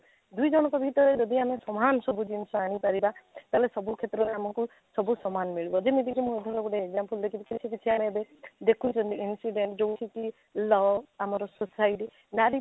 ଦୁଇ ଜଣଙ୍କ ଭିତରେ ଯଦି ସମାନ ସବୁ ଜିନିଷ ଆଣି ପାରିବ ତାହେଲେ ସବୁ କ୍ଷେତ୍ରରେ ଆମକୁ ସବୁ ସମାନ ମିଳିବ ଯେମିତିକି ମୁଁ ଗୋଟେ example ଦେଖେଇବି ସେଥିରୁ କିଛି କିଛି ଆଣିବେ ଦେଖୁଛନ୍ତି incident ଯଉଠି କି law ଆମର society ନାରୀ